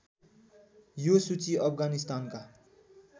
यो सूची अफगानिस्तानका